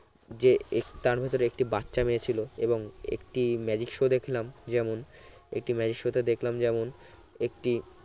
যে এক তার ভেতরে একটি বাচ্চা মেয়ে ছিল এবং একটি magic show দেখলাম যেমন একটি magic show তে দেখলাম যেমন একটি